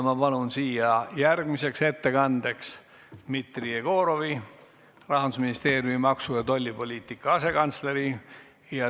Ma palun siia järgmiseks ettekandeks Dmitri Jegorovi, Rahanduministeeriumi maksu- ja tollipoliitika asekantsleri.